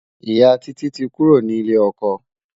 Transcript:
ìyá Títí tí kúrò ní ilè okò